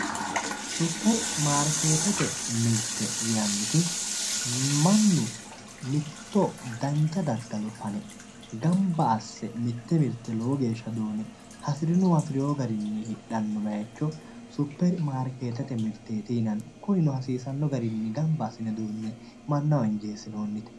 superimaarkeettete mirte yinanniti mannu mitto dancha daddalo fane gamba asse mitte mirte lowo geeshsha duune hasirinohu hasirino garinni hidhanno bayiicho superimaarkeettete mirteeti yinanni kunino hasiisanno garinni gamba assine duunne mannaho injeessinoonnite.